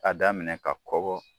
Ka daminɛ ka kɔgɔ